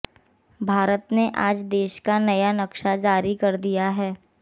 भारत ने आज देश का नया नक्शा जारी कर दिया है